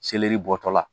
Seleri bɔtɔla